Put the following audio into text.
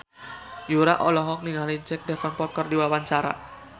Yura olohok ningali Jack Davenport keur diwawancara